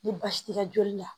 Ni baasi tɛ joli la